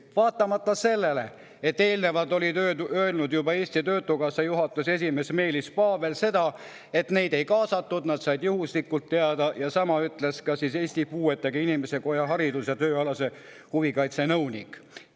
Seda vaatamata sellele, et eelnevalt oli öelnud Eesti Töötukassa juhatuse esimees Meelis Paavel, et neid ei kaasatud, nad said sellest juhuslikult teada, ja sama ütles Eesti Puuetega Inimeste Koja haridus- ja tööalase huvikaitse nõunik.